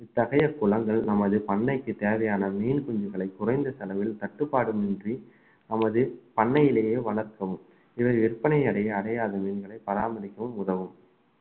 இத்தகைய குளங்கள் நமது பண்ணைக்குத் தேவையான மீன் குஞ்சுகளை குறைந்த செலவில் தட்டுப்பாடும் இன்றி நமது பண்ணையிலேயே வளர்ப்போம் இவை விற்பனை அடைய~ அடையாத மீன்களை பராமரிக்கவும் உதவும்